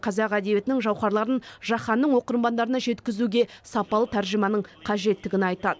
қазақ әдебиетінің жауһарларын жаһанның оқырмандарына жеткізуге сапалы тәржіманың қажеттігін айтады